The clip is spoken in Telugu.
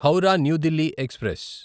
హౌరా న్యూ దిల్లీ ఎక్స్ప్రెస్